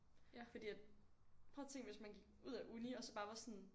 Fordi at prøv at tænk hvis man gik ud af uni og så bare var sådan